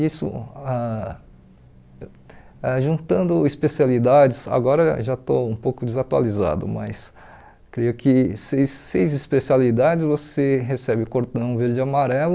Isso, ah ah juntando especialidades, agora já estou um pouco desatualizado, mas, creio que seis seis especialidades, você recebe o cordão verde e amarelo,